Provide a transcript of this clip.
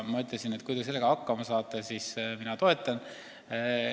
Ma ütlesin, et kui te sellega hakkama saate, siis mina toetan.